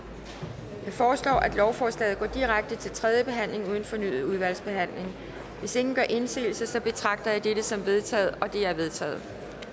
foreslår at lovforslaget går direkte til tredje behandling uden fornyet udvalgsbehandling hvis ingen gør indsigelse betragter jeg dette som vedtaget det er vedtaget